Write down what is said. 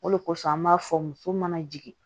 O de kosɔn an b'a fɔ muso mana jigin